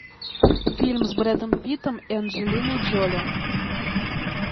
фильм с брэдом питтом и анджелиной джоли